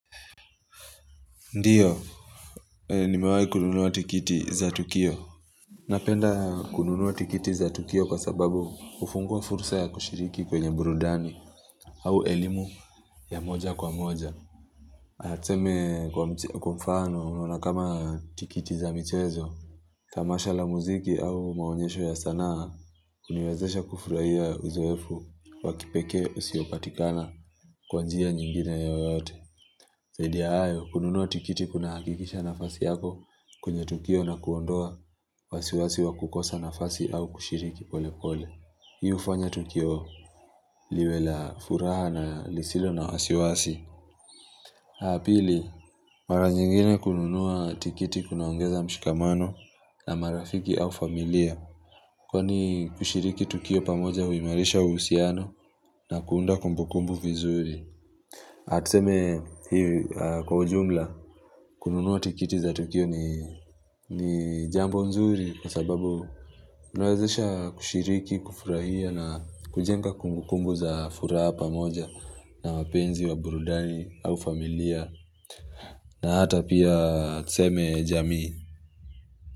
Ndiyo, nimewahi kununua tikiti za Tukio. Napenda kununua tikiti za Tukio kwa sababu hufungua fursa ya kushiriki kwenye burudani au elimu ya moja kwa moja. Tuseme kwa mfano na kama tikiti za mchezo, tamasha la muziki au maonyesho ya sanaa huniwezesha kufurahia uzoefu wa kipekee usiopatikana kwa njia nyingine yoyote. Zaidi ya hayo, kununua tikiti kuna hakikisha nafasi yako kwenye tukio na kuondoa wasiwasi wa kukosa nafasi au kushiriki pole pole. Hii hufanya tukio liwe la furaha na lisilo na wasiwasi. Aah pili, mara nyingine kununua tikiti kunaongeza mshikamano na marafiki au familia. Kwani kushiriki tukio pamoja huimarisha uhusiano na kuunda kumbukumbu vizuri. Tuseme kwa ujumla kununua tikiti za Tukio ni jambo mzuri kwa sababu mnawezesha kushiriki, kufurahia na kujenga kumbukumbu za furaha pamoja na wapenzi wa burudani au familia na hata pia tuseme jamii.